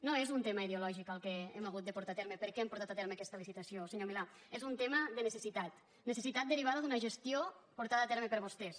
no és un tema ideològic el que hem hagut de portar a terme per què hem portat a terme aquesta licitació senyor milà és un tema de necessitat necessitat derivada d’una gestió portada a terme per vostès